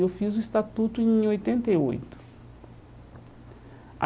Eu fiz o estatuto em oitenta e oito.